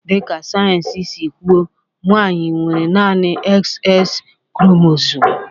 Dịka sayensị si kwu, nwanyị nwere naanị XX kromosomu